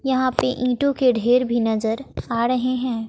यहां पे ईंटों के ढेर भी नजर आ रहे हैं।